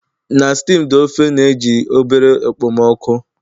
Na steamed ofe na-eji obere okpomọkụ